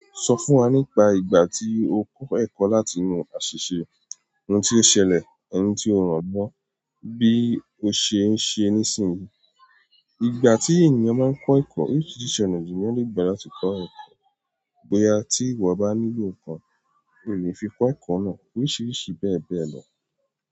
Sọ fún wa nípa ìgbà tí o kọ́ ẹ̀kọ́ láti inú àṣìṣe, ohun tí o ṣẹlẹ̀, ẹni tí o ràn lọ́, bí o ṣe ń ṣe nísìnyí. Ìgbà tí ènìyàn máa ń kọ́ ẹ̀kọ́, oríṣiríṣi ọ̀nà ni èèyàn leè gbà láti kọ́ ẹ̀kọ́. Bóyá tí ìwọ bá nílò nǹkan, o leè fi kọ́ ẹ̀kọ́ náà, oríṣiríṣi bẹ́ẹ̀ bẹ́ẹ̀ lọ.